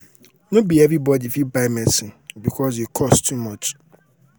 no be everybody fit buy medicine because e cost too much.